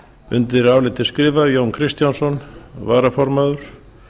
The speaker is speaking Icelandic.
undir álitið skrifa jón kristjánsson varaformaður